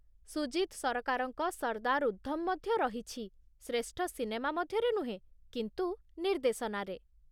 ସୁଜିତ୍ ସରକାରଙ୍କ 'ସର୍ଦ୍ଦାର ଉଦ୍ଧମ' ମଧ୍ୟ ରହିଛି, ଶ୍ରେଷ୍ଠ ସିନେମା ମଧ୍ୟରେ ନୁହେଁ, କିନ୍ତୁ ନିର୍ଦ୍ଦେଶନାରେ।